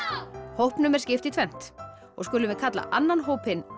hópnum er skipt í tvennt og skulum við kalla annan hópinn